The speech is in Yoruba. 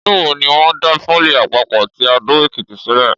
Ọdún wo ni wọ́n dá pólì àpapọ̀ ti Adó-Èkìtì sílẹ̀?